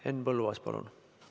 Henn Põlluaas, palun!